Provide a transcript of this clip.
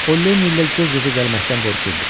O Lenni ilə göz-gözə gəlməkdən qorxurdu.